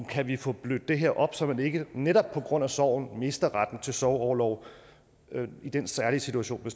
kan vi få blødt det her op så man ikke netop på grund af sorgen mister retten til sorgorlov i den særlige situation